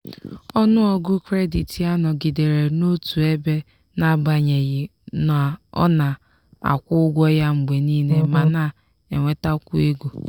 ọnụọgụ kredit ya nọgidere n'otu ebe n'agbanyeghị na ọ na-akwụ ụgwọ ya mgbe niile ma na-enwetakwu ego.